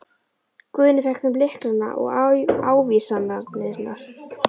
Guðni fékk þeim lyklana og ávísanirnar.